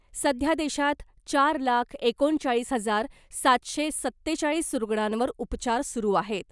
सध्या देशात चार लाख एकोणचाळीस हजार सातशे सत्तेचाळीस रुग्णांवर उपचार सुरू आहेत .